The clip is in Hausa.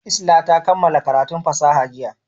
Isla ta kammala karatun fasaha jiya.